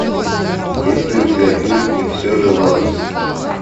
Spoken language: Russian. есть ли у тебя фильм и все же лоранс